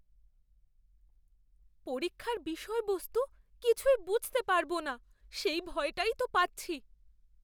পরীক্ষার বিষয়বস্তু কিছুই বুঝতে পারব না সেই ভয়টাই তো পাচ্ছি।